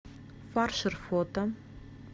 фаршер фото